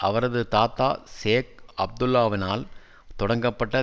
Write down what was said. அவரது தாத்தா ஷேக் அப்துல்லாவினால் தொடங்கப்பட்ட